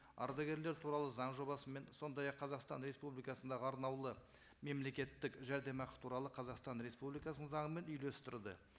ардагерлер туралы заң жобасымен сондай ақ қазақстан республикасындағы арнаулы мемлекеттік жәрдемақы туралы қазақстан республикасының заңымен үйлестірді